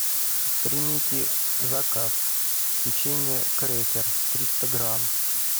примите заказ печенье крекер триста грамм